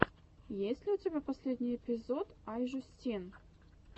есть ли у тебя последний эпизод ай жюстин